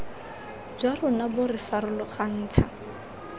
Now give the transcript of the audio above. jwa rona bo re farologantsha